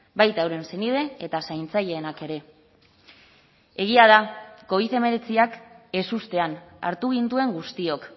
baita euren senide eta zaintzaileenak ere egia da covid hemeretziak ezustean hartu gintuen guztiok